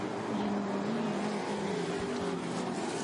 Ũrĩmi mũnini no ũthiĩ na mbere taũni-inĩ.